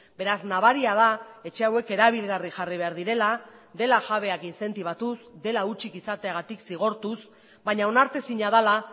beraz nabaria da etxe hauek erabilgarri jarri behar direla dela jabeak inzentibatuz dela hutsik izateagatik zigortuz baina onartezina dela